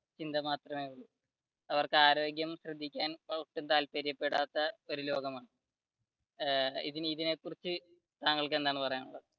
ചിന്ത മാത്രമേയുള്ളു. അവർക്ക് ആരോഗ്യം ശ്രദ്ധിക്കാൻ താല്പര്യപെടാത്ത ഒരു ലോകമാണ് ഇതിനെ കുറിച്ച് താങ്കൾക്ക് എന്താണ് പറയാനുള്ളത്?